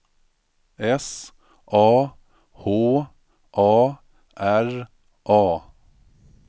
S A H A R A